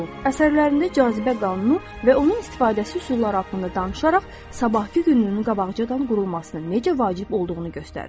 Əsərlərində cazibə qanunu və onun istifadəsi üsulları haqqında danışaraq, sabahkı gününün qabaqcadan qurulmasının necə vacib olduğunu göstərir.